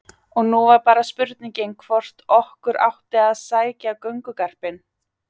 Og nú var bara spurningin hvort okkur átti að sækja göngugarpinn.